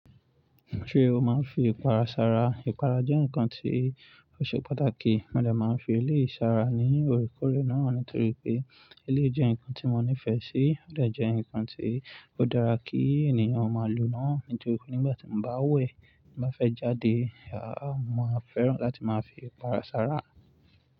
Ṣé o máa ń fi ìpara sára? Ìpara jẹ́ nǹkan tí ó ṣe pàtàkì. Mó ọ̀rẹ́ máa ń fi ilé ìsára ní orí korí náà nítorí pé ilé jẹ́ nǹkan tí mo nífẹ̀ẹ́ sí. Ó dà jẹ́ nǹkan tí ó dára kí ènìyàn máa lo náà. Nítorí pé nígbà tí mo bá wẹ̀, bá fẹ́ jáde, a máa fẹ́ràn láti máa fi ìpara sára.